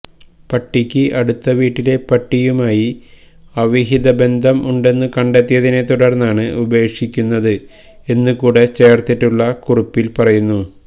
പട്ടിക്ക് അടുത്ത വീട്ടിലെ പട്ടിയുമായി അവിഹിത ബന്ധം ഉണ്ടെന്ന് കണ്ടെത്തിയതിനെ തുടർന്നാണ് ഉപേക്ഷിക്കുന്നത് എന്ന് കൂടെ ചേർത്തിട്ടുള്ള കുറിപ്പിൽ പറയുന്നു